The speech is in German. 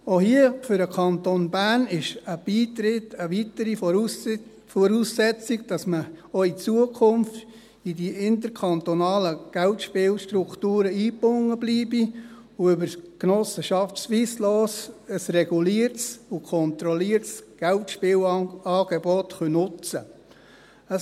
Auch hier ist für den Kanton Bern ein Beitritt eine weitere Voraussetzung dafür, dass man auch in Zukunft in die interkantonalen Geldspielstrukturen eingebunden bleibt und über die Genossenschaft Swisslos ein reguliertes und kontrolliertes Geldspielangebot nutzen kann.